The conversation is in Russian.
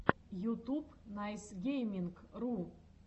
ютуб найсгейминг ру